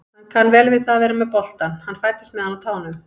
Hann kann vel við að vera með boltann, hann fæddist með hann á tánum.